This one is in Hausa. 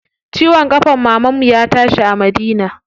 Ciwon ƙafan mamanmu ya tashi a Madina.